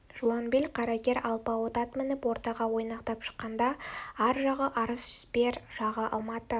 жуан бел қарагер алпауыт ат мініп ортаға ойнақтап шыққанда ар жағы арыс бер жағы алматы